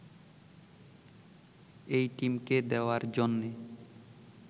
এই টিমকে দেয়ার জন্যে